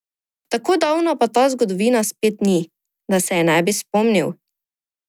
Tako davna pa ta zgodovina spet ni, da se je ne bi spomnil.